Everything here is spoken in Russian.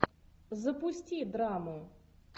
запусти драму